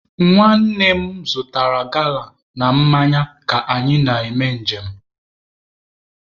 Nwanne m zụtara gala na mmanya ka anyị na-eme nje m.